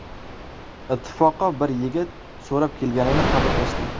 Ittifoqo bir yigit so‘rab kelganini xabar qilishdi.